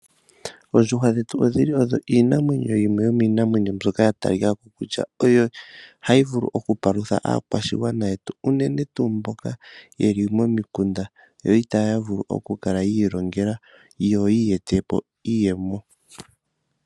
Oondjuhwa dhetu odhili odho iinamwenyo yimwe yomiinamwenyo mbyoka ya talikako kutya oyo hayi vulu oku palutha aakwashigwana yetu. Unene tuu mboka yeli momikunda yo itaya vulu oku kala yi ilongela yo ye etepo iiyemo.